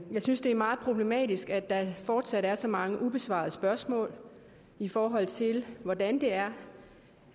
synes det er meget problematisk at der fortsat er så mange ubesvarede spørgsmål i forhold til hvordan det er